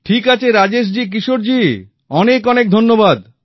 ঠিক আছে রাজেশজি কিশোরজি অনেক অনেক ধন্যবাদ